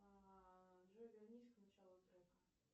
джой вернись к началу трека